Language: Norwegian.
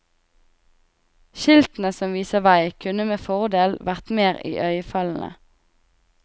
Skiltene som viser vei kunne med fordel vært mer iøynefallende.